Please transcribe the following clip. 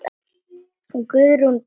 Guðrún Brá.